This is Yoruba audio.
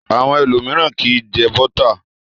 Àwọn ẹlòmíràn kì í jẹ bọ́tà.